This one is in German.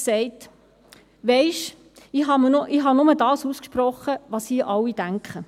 «Weisst du, ich habe nur ausgesprochen, was hier alle denken.